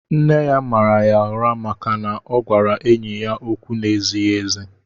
Nne ya màrà yá ụrá màkà na ọ gwara enyị ókwú n'ezighị ézi